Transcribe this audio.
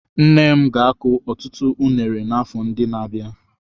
Nne m ga-akụ ọtụtụ unere n'afọ ndị na-abịa.